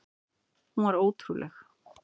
Hún var ótrúleg.